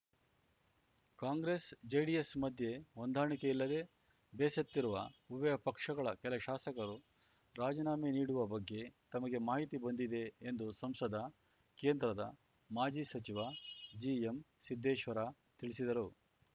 ಕಾಂಗ್ರೆಸ್‌ಜೆಡಿಎಸ್‌ ಮಧ್ಯೆ ಹೊಂದಾಣಿಕೆ ಇಲ್ಲದೇ ಬೇಸತ್ತಿರುವ ಉಭಯ ಪಕ್ಷಗಳ ಕೆಲ ಶಾಸಕರು ರಾಜಿನಾಮೆ ನೀಡುವ ಬಗ್ಗೆ ತಮಗೆ ಮಾಹಿತಿ ಬಂದಿದೆ ಎಂದು ಸಂಸದ ಕೇಂದ್ರದ ಮಾಜಿ ಸಚಿವ ಜಿಎಂಸಿದ್ದೇಶ್ವರ ತಿಳಿಸಿದರು